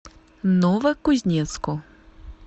новокузнецку